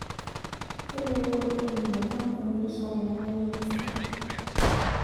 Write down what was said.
Kelelek oleng' eiminie nkampunini rishat temeiregista